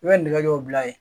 I bɛ nɛgɛw bila yen